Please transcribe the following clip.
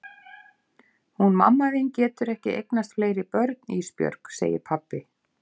Hún mamma þín getur ekki eignast fleiri börn Ísbjörg, segir pabbi.